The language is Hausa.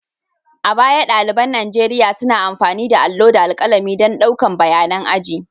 A baya, ɗaliban Nigeriya suna amfani da allo da alƙalami don ɗaukan bayanan aji.